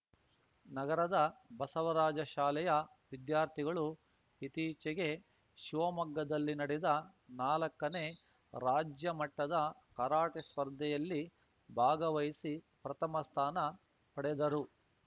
ನಗರದ ಬಸವರಾಜ ಶಾಲೆಯ ವಿದ್ಯಾರ್ಥಿಗಳು ಇತ್ತೀಚೆಗೆ ಶಿವಮೊಗ್ಗದಲ್ಲಿ ನಡೆದ ನಾಲಕ್ಕನೇ ರಾಜ್ಯ ಮಟ್ಟದ ಕರಾಟೆ ಸ್ಪರ್ಧೆಯಲ್ಲಿ ಭಾಗವಹಿಸಿ ಪ್ರಥಮ ಸ್ಥಾನ ಪಡೆದರು